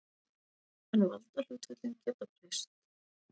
En valdahlutföllin geta breyst.